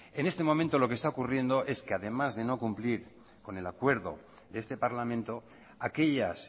en este momento lo que está ocurriendo es que además de no cumplir con el acuerdo de este parlamento aquellas